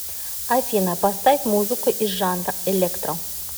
афина поставь музыку из жанра электро